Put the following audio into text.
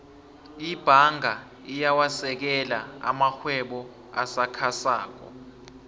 ibhanga iyawasekela amarhwebo asakhasako